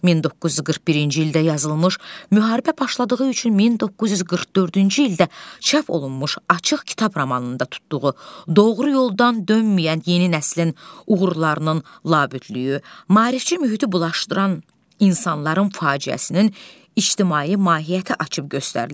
1941-ci ildə yazılmış, müharibə başladığı üçün 1944-cü ildə çap olunmuş Açıq Kitab romanında tutduğu doğru yoldan dönməyən yeni nəslin uğurlarının labüdlüyü, maarifçi mühiti bulaşdıran insanların faciəsinin ictimai mahiyyəti açıb göstərilir.